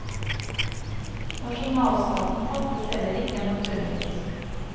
Nasjonalstaten fantes heller ikke, naturligvis.